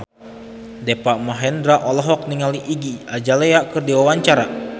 Deva Mahendra olohok ningali Iggy Azalea keur diwawancara